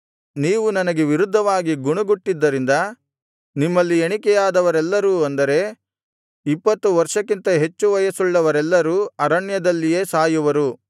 ನೀವು ನನಗೆ ವಿರುದ್ಧವಾಗಿ ಗುಣುಗುಟ್ಟಿದ್ದರಿಂದ ನಿಮ್ಮಲ್ಲಿ ಎಣಿಕೆಯಾದವರೆಲ್ಲರು ಅಂದರೆ ಇಪ್ಪತ್ತು ವರ್ಷಕ್ಕಿಂತ ಹೆಚ್ಚು ವಯಸ್ಸುಳ್ಳವರೆಲ್ಲರೂ ಅರಣ್ಯದಲ್ಲಿಯೇ ಸಾಯುವರು